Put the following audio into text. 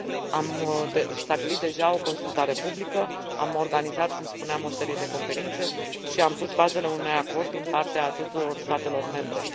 Am stabilit deja o consultare publică, am organizat, cum spuneam, o serie de conferințe și am pus bazele unui acord din partea tuturor statelor membre.